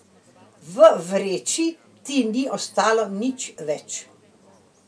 V vreči ti ni ostalo nič več.